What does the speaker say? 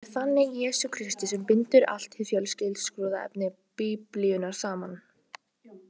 Það er þannig Jesús Kristur sem bindur allt hið fjölskrúðuga efni Biblíunnar saman.